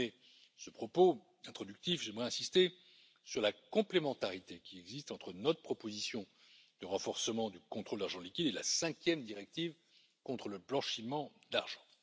Pour terminer ce propos introductif, j'aimerais insister sur la complémentarité qui existe entre notre proposition de renforcement du contrôle de l'argent liquide et la cinquième directive contre le blanchiment d'argent.